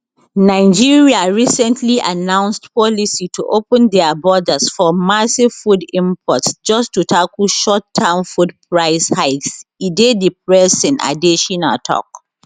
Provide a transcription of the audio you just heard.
nigeria recently announced policy to open dia borders for massive food imports just to tackle short term food price hikes e dey depressing adesina tok